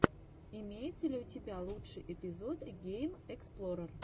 имеется ли у тебя лучший эпизод геймэксплорер